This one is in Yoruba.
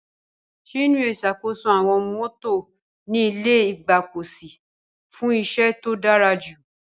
Chinwe ṣàkóso àwọn mọ́tò ní ilé ìgbọ́kọ̀sí fún iṣẹ́ tó dára jù.